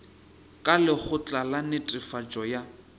ka lekgotla la netefatšo ya